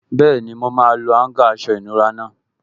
Bẹ́ẹ̀ni, mo máa lo áúngà aṣọ ìnura náà